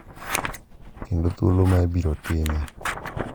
Kendo thuolo ma ibiro time.